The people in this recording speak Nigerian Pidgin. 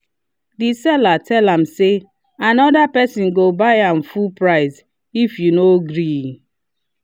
the seller tell am say “another person go buy am full price if you no gree.”